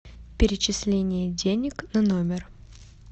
перечисление денег на номер